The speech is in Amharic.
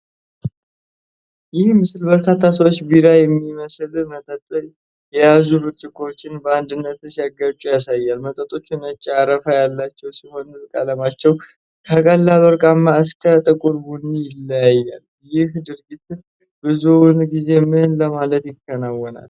ይህ ምስል በርካታ ሰዎች ቢራ የሚመስል መጠጥ የያዙ ብርጭቆዎችን በአንድነት ሲያጋጩ ያሳያል። መጠጦቹ ነጭ አረፋ ያላቸው ሲሆን፣ ቀለማቸው ከቀላል ወርቃማ እስከ ጥቁር ቡኒ ይለያያል፤ ይህ ድርጊት ብዙውን ጊዜ ምን ለማለት ይከናወናል?